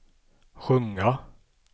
sjunga